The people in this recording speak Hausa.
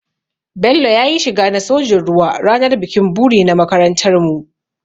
Bello ya yi shiga na sojin ruwa ranar bikin buri na makarantarmu.